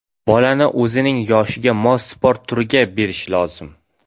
Bolani o‘zining yoshiga mos sport turiga berish lozim.